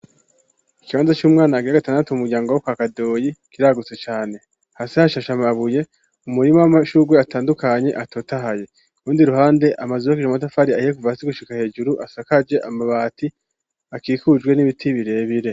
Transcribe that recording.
Ikibanza c'umwana agira gatandatu mu muryango wo kwa kadoyi kiragutse cane hasi hashashe amabuye, umurima w'amashurwe atandukanye atotahaye urundi ruhande amazibo abiri y'amatafari ahiye kuva hasi gushika hejuru asakaje amabati akikujwe n'ibiti birebire.